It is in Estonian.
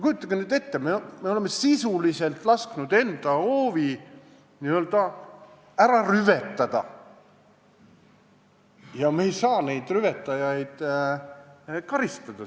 Kujutage nüüd ette, me oleme sisuliselt lasknud enda hoovi n-ö ära rüvetada ja me ei saa neid rüvetajaid selle eest karistada.